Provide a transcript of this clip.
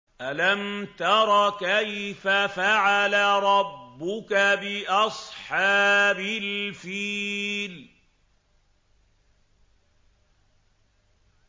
أَلَمْ تَرَ كَيْفَ فَعَلَ رَبُّكَ بِأَصْحَابِ الْفِيلِ